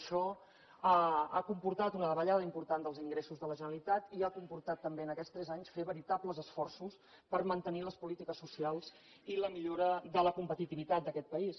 això ha comportat una davallada important dels ingressos de la generalitat i ha comportat també en aquests tres anys fer veritables esforços per mantenir les polítiques socials i la millora de la competitivitat d’aquest país